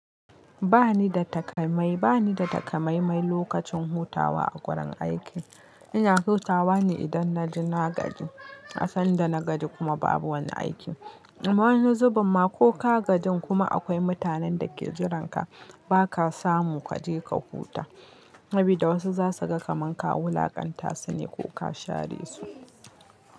Ba ni da takamaimai, ba ni da takamaimai lokacin hutawa a wurin aiki. Ina hutawa ne idan na ji na gaji, asan da na gaji kuma babu wani aiki. A wani zubamma ko ka gajin kuma akwai mutanen da ke jiran ka, ba ka samu kaje ka huta. Sabi da wasu za su ga kamanka wulaƙanta su ne ko ka share su.